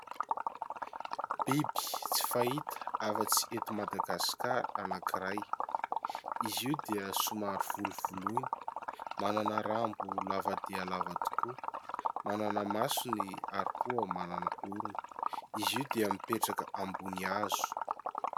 Biby tsy fahita afa-tsy eto Madagasikara anankiray izy io dia somary volovoloina, manana rambo lava dia lava tokoa, manana masony ary koa manana orona, izy io dia mipetraka ambony hazo.